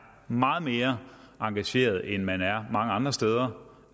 meget mere engageret end man er mange andre steder